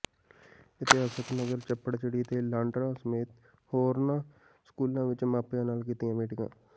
ਇਤਿਹਾਸਕ ਨਗਰ ਚੱਪੜਚਿੜੀ ਤੇ ਲਾਂਡਰਾਂ ਸਮੇਤ ਹੋਰਨਾਂ ਸਕੂਲਾਂ ਵਿੱਚ ਮਾਪਿਆਂ ਨਾਲ ਕੀਤੀਆਂ ਮੀਟਿੰਗਾਂ